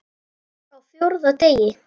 Á FJÓRÐA DEGI